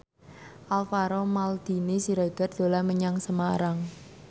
Alvaro Maldini Siregar dolan menyang Semarang